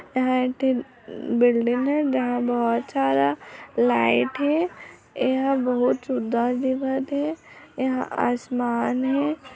ए हा एक ठीन बिल्डिंग एजहाँ बहोत सारा लाइट हेएहा बहुत एहा आसमान हे।